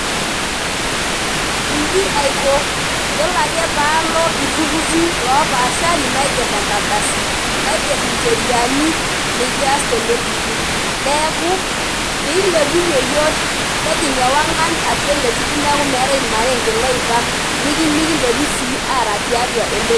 Inji aiko yiolo ake paalo iltururi lopashari naiger enkardasi naiger incheriani nekias teleturur neeku pilepunyie iyiok nejing ewangan atua ele turur neeku meetae irmaarenken loipang nimintoki sii aara tiatua ele turur.